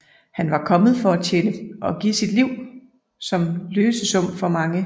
Han var kommet for at tjene og give sit liv som løsesum for mange